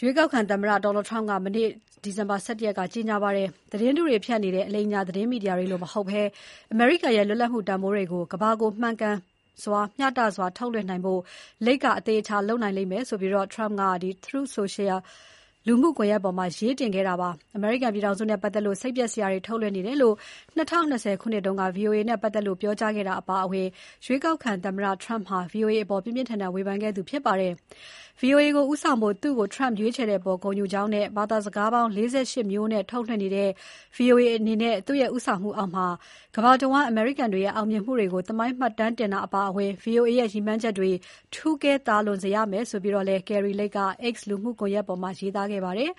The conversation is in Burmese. ရွေးကောက်ခံသမ္မတ Donald Trump က မနေ့ ဒီဇင်ဘာ ၁၁ ရက်နေ့က ကြေညာပါတယ်။ သတင်းတုတွေဖြန့်နေတဲ့ အလိမ်အညာ သတင်းမီဒီယာတွေလိုမဟုတ်ဘဲ အမေရိကန်ရဲ့ လွတ်လပ်မှု တန်ဖိုးတွေကို ကမ္ဘာကို မှန်ကန်မျှတစွာထုတ်လွှင့်နိုင်ဖို့ Lake က အသေအချာလုပ်လိမ့်မယ် Trump က Truth Social လူမှုကွန်ရက်ပေါ်မှာ ရေးတင်ခဲ့တာပါ။ ‘အမေရိကန်ပြည်ထောင်စုနဲ့ပတ်သက်လို့ စိတ်ပျက်စရာတွေ ထုတ်လွှင့်နေတယ်’ လို့ ၂၀၂၀ ခုနှစ်တုန်း က ဗွီအိုအေနဲ့ပတ်သက်လို့ ပြောကြားခဲ့တာအပါအဝင် ရွေးကောက်ခံသမ္မတ Trump ဟာ VOA အပေါ် ပြင်းပြင်းထန်ထန် ဝေဖန်ခဲ့သူဖြစ်ပါတယ်။ ဗွီအိုအေကိုဦးဆောင်ဖို့ သူ့ကို Trump ရွေးချယ်တဲ့အပေါ် ဂုဏ်ယူကြောင်းနဲ့ ဘာသာစကားပေါင်း ၄၈ မျိုးနဲ့ ထုတ်လွှင့်နေတဲ့ ဗွီအိုအေအနေနဲ့ သူ့ရဲ့ ဦးဆောင်မှုအောက်မှာ ကမ္ဘာတဝန်းအမေရိကန်တွေရဲ့ အောင်မြင်မှု တွေကို သမိုင်းမှတ်တမ်းတင်တာအပါအဝင် ဗွီအိုအေရဲ့ ရည်မှန်းချက်တွေ ထူးကဲ သာလွန်စေရမယ်လို့ Kari Lake က X လူမှုကွန်ရက်ပေါ်မှာ ရေးသားခဲ့ပါတယ်